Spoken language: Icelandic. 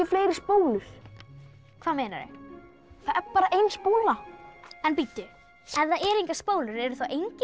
fleiri spólur hvað meinarðu það er bara ein spóla en bíddu ef það eru engar spólur eru þá engir